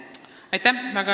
Aitäh!